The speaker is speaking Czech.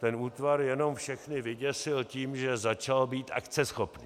Ten útvar jenom všechny vyděsil tím, že začal být akceschopný.